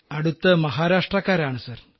അടുത്ത് മഹാരാഷ്ട്രക്കാരാണ് സർ